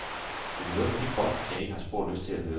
Du kan høre på de bånd, jeg har ikke spor lyst til at høre dem.